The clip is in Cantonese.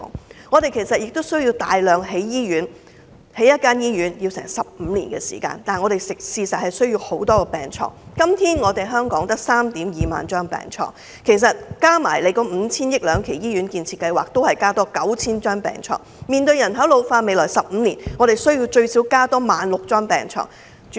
同時，我們亦需要大量興建醫院，建造一間醫院需時15年，但我們需要大量病床，現時香港只有 32,000 張病床，加上 5,000 億元兩期醫院建設計劃，也只能增加 9,000 張病床，面對人口老化，我們在未來15年需要增加 16,000 張病床。